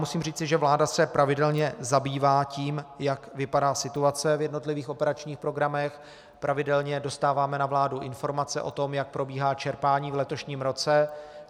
Musím říci, že vláda se pravidelně zabývá tím, jak vypadá situace v jednotlivých operačních programech, pravidelně dostáváme na vládu informace o tom, jak probíhá čerpání v letošním roce.